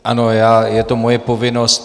Ano, je to moje povinnost.